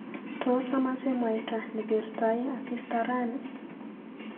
Tos amache mwaita nekertoi asista rani?